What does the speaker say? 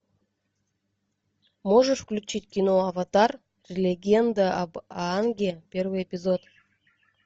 можешь включить кино аватар легенда об аанге первый эпизод